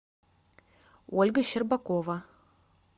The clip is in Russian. ольга щербакова